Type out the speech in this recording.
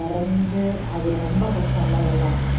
இறந்து அது ரொம்ப கஷ்டம்ல அதெல்லாம்